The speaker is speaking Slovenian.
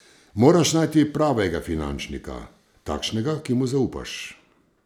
Moraš najti pravega finančnika, takšnega, ki mu zaupaš.